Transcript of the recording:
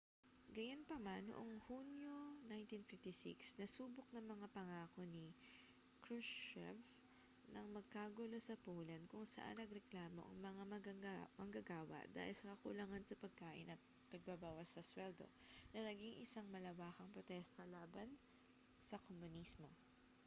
gayunpaman noong hunyo 1956 nasubok ang mga pangako ni krushchev nang magkagulo sa poland kung saan nagreklamo ang mga manggagawa dahil sa kakulangan sa pagkain at pagbabawas sa suweldo na naging isang malawakang protesta laban sa komunismo